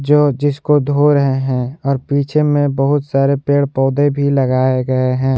जो जिसको धो रहे हैं और पीछे में बहुत सारे पेड़ पौधे भी लगाए गए हैं।